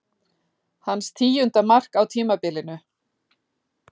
Hans tíunda mark á tímabilinu.